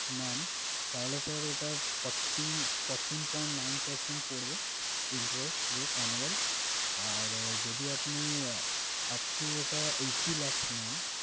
নেন, তাহলে sir ওটা fourteen fourteen point nine percent পড়বে interest rate annual । আর যদি আপনি upto eighty lakhs নেন